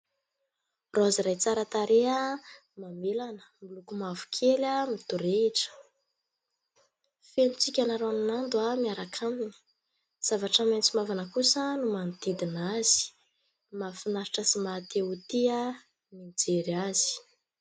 Raozy iray tsara tareha mamelana miloko mavo kely midorehitra. Feno tsika ranonando miaraka aminy. Zavatra maitso mavana kosa no manodidina azy. Mahafinaritra sy mahatia ho tia ny mijery azy.